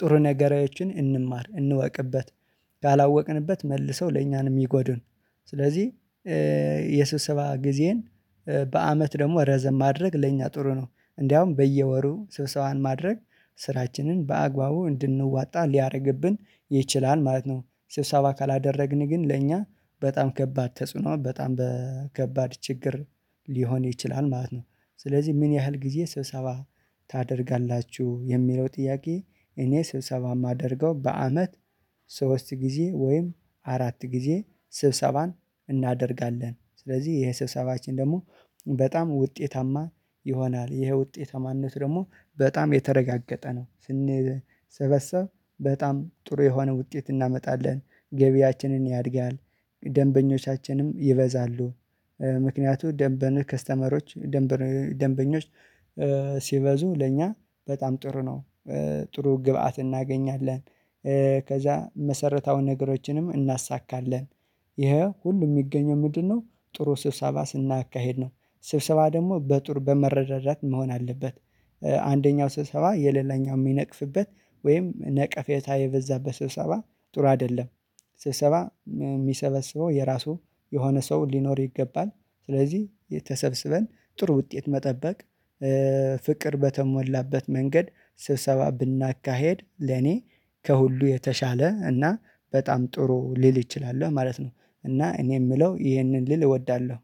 ጥሩ ነገራችን እንማር እንወቅበት። ያላወቅንበት መልሰው ለእኛ ነው ምጎዱን ስለዚህ የስብሰባ ጊዜን በአመት ደግሞ ረዘም ማድረግ ለኛ ጥሩ ነው እንደውም በየወሩ ስብሰዋን ማድረግ ስራችንን በአግባቡ እንድንዋጣ ሊያደርግብን ይችላል ማለት ነው። ስብሰባ ካላደረግን ግን ለእኛ በጣም ከባድ ተጽዕኖ በጣም ከባድ ችግር ሊሆን ይችላል ማለት ነው። ስለዚህ ምን ያህል ጊዜ ስብሰባ ታደርጋላችሁ የሚለው ጥያቄ? እኔ ስብሰባ የማደርገው በአመት ሶስት ጊዜ ወይም አራት ጊዜ ስብሰባን እናደርጋለን። ስለዚህ ይሄ ስብሰባችን ደግሞ በጣም ውጤታማ ይሆናል ይሄ ውጤታማነት ደግሞ በጣም የተረጋገጠ ነው። ስንሰበሰብ በጣም ጥሩ የሆነ ውጤት እናመጣለን ገቢያችንን ያድጋል። ደንበኞቻችንም ይበዛሉ። ምክንያቱም ደንበኛ ከስተመሮች ደንበኞች ሲበዙ ለእኛ በጣም ጥሩ ነው። ጥሩ ግብአት እናገኛለን። ከዛ መሰረታዊ ነገሮችንም እናሳካለን ይሄ ሁሉ የሚገኘው ምንድነው? ጥሩ ስብሰባ ስናካሄድ ነው። ስብሰባ ደግሞ በጥሩ በመረዳዳት መሆን አለበት። አንደኛው ስብሰባ የሌላኛው የሚነቅፍበት ወይም ነቀፌታ የበዛበት ስብሰባ ጥሩ አይደለም። ስብሰባ የሚሰበስበው የራሱ የሆነ ሰው ሊኖር ይገባል። ስለዚህ ተሰበሰበን ጥሩ ውጤት መጠበቅ ፍቅር በተሞላበት መንገድ ስብሰባ ብናካሄድ ለኔ ከሁሉ የተሻለ እና በጣም ጥሩ ሊል ይችላል ማለት ነው። እና እኔ የምለው ይሄንን ልል እወዳለሁ